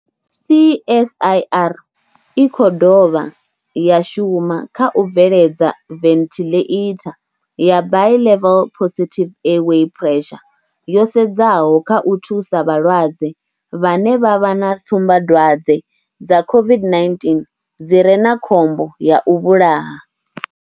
CSIR i khou dovha ya shuma kha u bveledza venthiḽeitha ya Bi-level Positive Airway Pressure yo sedzaho kha u thusa vhalwadze vhane vha vha na tsumbadwadze dza COVID-19 dzi re na khombo ya u vhulaha.